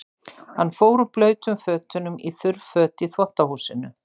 Hann fór úr blautum fötunum í þurr för í þvottahúsinu.